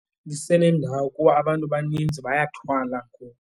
Lisenendawo kuba abantu baninzi, bayathwala kulo.